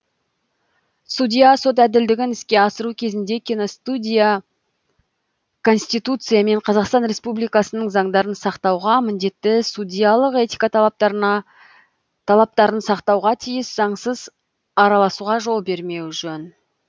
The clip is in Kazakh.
судья сот әділдігін іске асыру кезінде конституция мен қазақстан республикасының заңдарын сақтауға міндетті судьялық этика талаптарын сақтауға тиіс заңсыз араласуға жол бермеу жөн